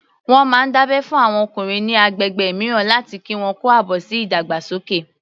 Wọ́n máa ń dábẹ́ fún àwọn ọkùnrin ní agbègbè mìíràn láti kí wọn kú àbọ̀ sí ìdàgbàsókè